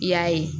I y'a ye